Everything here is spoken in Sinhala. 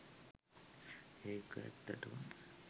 ඒක ඇත්තටම